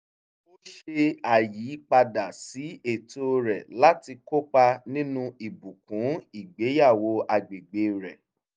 ó ṣe àyípadà sí ètò rẹ̀ láti kópa nínú ìbùkún ìgbéyàwó agbègbè rẹ̀